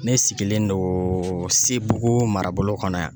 Ne sigilen donnn sebugu mara bolo kɔnɔ yan.